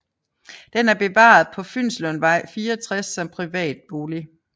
Den er bevaret på Fynslundvej 64 som privat bolig